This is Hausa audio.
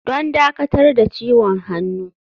Don dakatar da ciwon hannu.